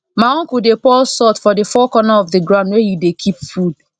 my uncle dey pour salt for the four corner of the ground where he dey keep food